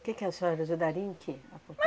Que que a senhora ajudaria em quê, a